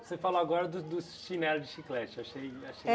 Você falou agora do dos chinelo de chiclete, achei achei